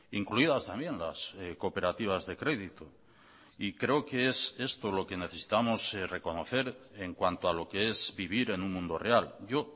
incluidas también las cooperativas de crédito y creo que es esto lo que necesitamos reconocer en cuanto a lo que es vivir en un mundo real yo